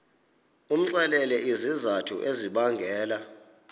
umxelele izizathu ezibangela